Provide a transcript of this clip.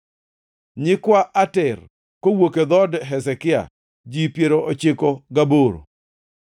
nyikwa Ater (kowuok e dhood Hezekia) ji piero ochiko gaboro (98),